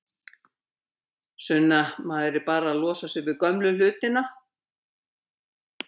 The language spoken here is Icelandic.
Sunna: Maður er bara að losa sig við gömlu hlutina?